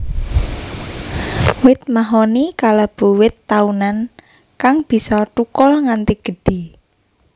Wit mahoni kalebu wit taunan kang bisa thukul nganti gedhé